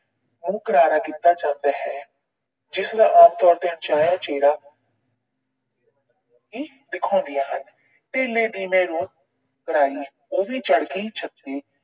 ਮੂੰਹ ਕਰਾਰਾ ਕੀਤਾ ਜਾਂਦਾ ਹੈ। ਜਿਸ ਦਾ ਆਮ ਤੌਰ ਤੇ ਅਣਚਾਹਿਆ ਚਿਹਰਾ ਵੀ ਵਿਖਾਉਂਦੀਆਂ ਹਨ। ਧੇਲੇ ਦੀ ਮੈਂ ਰੂੰ ਕਰਾਈ, ਉਹ ਵੀ ਚੜ ਗਈ ਛੱਤੇ।